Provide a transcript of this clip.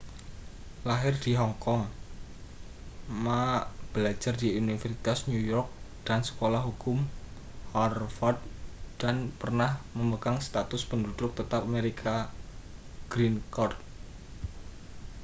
lahir di hong kong ma belajar di universitas new york dan sekolah hukum harvard dan pernah memegang status penduduk tetap amerika green card